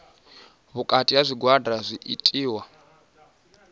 vhukati ha zwigwada zwi itiwa